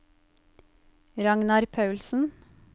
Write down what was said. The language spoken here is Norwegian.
Ragnar Paulsen